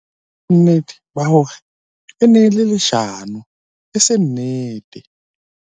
ke na le bonnete ba hore e ne e le leshano e seng nnete